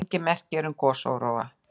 Engin merki eru um gosóróa.